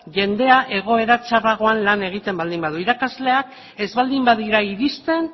jendea egoera txarragoan lan egiten baldin badu irakasleak ez baldin badira iristen